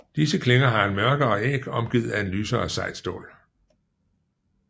Disse klinger har en mørkere æg omgivet af et lysere sejt stål